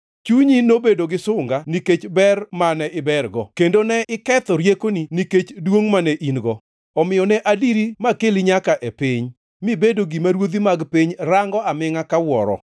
Chunyi nobedo gi sunga nikech ber mane ibergo, kendo ne iketho riekoni nikech duongʼ mane in-go. Omiyo ne adiri makeli nyaka e piny; mibedo gima ruodhi mag piny rango amingʼa ka wuoro.